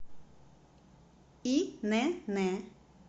инн